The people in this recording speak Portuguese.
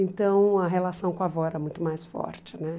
Então a relação com a avó era muito mais forte né.